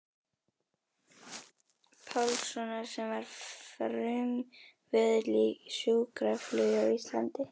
Pálssonar sem var frumkvöðull í sjúkraflugi á Íslandi.